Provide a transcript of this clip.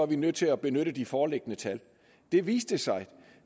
vi nødt til at benytte de foreliggende tal det viste sig